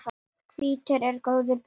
Hvítur er góu bróðir.